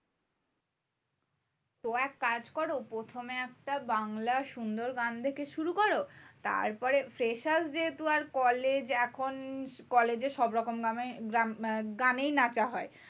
তো এক কাজ করো। প্রথমে একটা বাংলার সুন্দর গান দেখে শুরু করো। তারপরে freshers যেহেতু আর college এ এখন college এ সবরকম গানেই নাচা হয়।